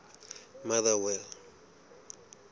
motherwell